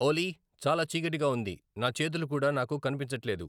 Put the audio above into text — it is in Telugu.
ఓలీ చాలా చీకటిగా ఉంది నా చేతులు కూడా నాకు కనిపించట్లేదు